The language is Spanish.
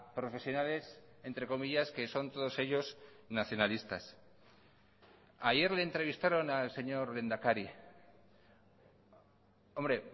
profesionales entre comillas que son todos ellos nacionalistas ayer le entrevistaron al señor lehendakari hombre